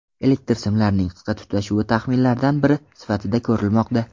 Elektr simlarining qisqa tutashuvi taxminlardan biri sifatida ko‘rilmoqda.